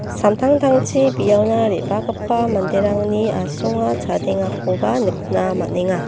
samtangtangchi biaona re·bagipa manderangni asonga chadengakoba nikna man·enga.